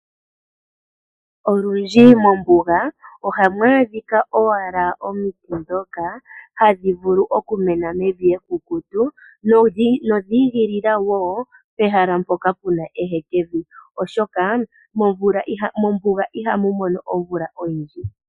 Olundji mombuga oha mu adhika owala omiti dhoka hadhi vulu okumena mevi ekukutu nodhiigila woo pehala mpoka puna ehekevi, oshoka mombuga iha mu mono omvula oyindji.